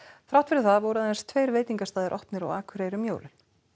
þrátt fyrir það voru aðeins tveir veitingastaðir opnir á Akureyri um jólin